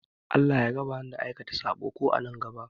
Allah ya raba ni da aikata saɓo, ko a nan gaɓa